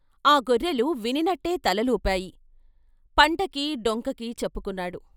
ఆ గొర్రెలు వినినట్టే తలలుపాయి, పంటకి డొంకకీ చెప్పుకున్నాడు.